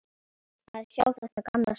Að sjá þetta gamla svín.